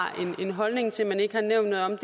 en holdning til men ikke har nævnt noget om